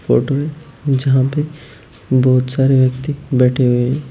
Photo है यहां पे बहुत सारे व्यक्ति बैठे हुए है।